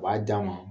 U b'a d'a ma